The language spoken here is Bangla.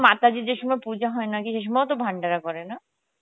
মাতাজি যে সময় পুজো হয় নাকি সে সময় তো ভান্ডার করে না